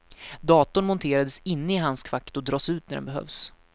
Datorn monterades inne i handskfacket och dras ut när den behövs.